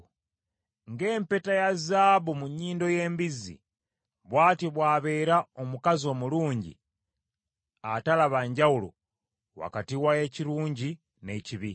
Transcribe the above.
Ng’empeta ya zaabu mu nnyindo y’embizzi, bw’atyo bw’abeera omukazi omulungi atalaba njawulo wakati w’ekirungi n’ekibi.